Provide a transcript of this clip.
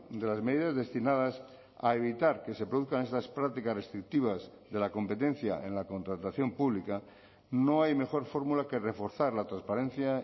de las medidas destinadas a evitar que se produzcan estas prácticas restrictivas de la competencia en la contratación pública no hay mejor fórmula que reforzar la transparencia